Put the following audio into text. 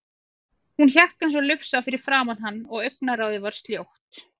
Hún hékk eins og lufsa fyrir framan hann og augnaráðið var sljótt.